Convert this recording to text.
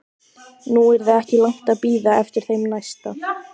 Nú yrði ekki langt að bíða eftir þeim næsta.